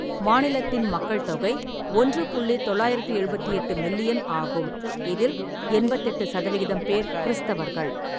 மாநிலத்தின் மக்கள் தொகை ஒன்று புள்ளி தொள்ளாயிரத்தி எழுபத்தெட்டு மில்லியன் ஆகும், இதில் எண்பத்தெட்டு சதவிகிதம் பேர் கிறிஸ்தவர்கள்.